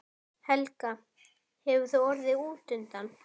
Helga: Hefur þú orðið útundan?